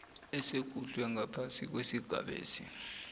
esikhutjhwe ngaphasi kwesigabesi